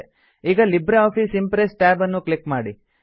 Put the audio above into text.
ಈಗ Libre Office Impress tab ನ್ನು click ಮಾಡಿ